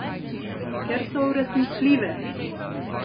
Ker so uresničljive!